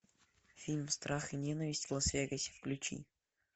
фильм страх и ненависть в лас вегасе включи